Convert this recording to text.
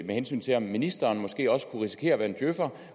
med hensyn til at ministeren måske også kunne risikere at være en djøfer